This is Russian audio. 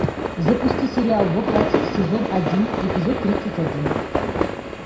запусти сериал во плоти сезон один эпизод тридцать один